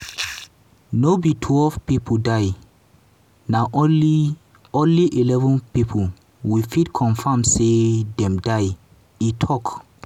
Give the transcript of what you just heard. "no be twelve pipo die na only only eleven pipo we fit confam say dem die" e tok.